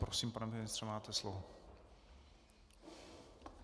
Prosím, pane ministře, máte slovo.